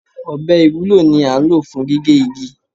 Ọbẹ̀ ìwúlò ni án ló fún gigẹ́ igi